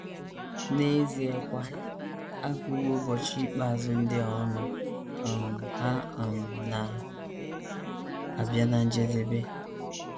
N’eziekwa, a gụwo ụbọchị ikpeazụ ndị a ọnụ; um ha um na - abịa ná njedebe.